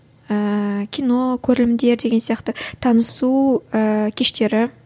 ііі кино көрілімдер деген сияқты танысу ііі кештері